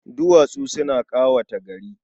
Duwatsu suna ƙawata gari.